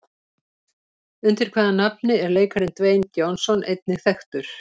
Undir hvaða nafni er leikarinn Dwayne Johnson einnig þekktur?